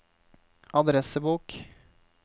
adressebok